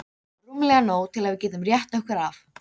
Rúmlega nóg til að við getum rétt okkur af.